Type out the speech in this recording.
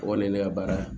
O kɔni ye ne ka baara ye